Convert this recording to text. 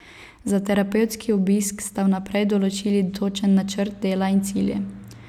Za terapevtski obisk sta vnaprej določili točen načrt dela in cilje.